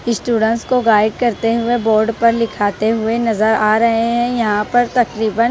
students को guide करते हुए बोर्ड पर लिखाते हुए नजर आ रहे हैं यहां पर तकरीबन --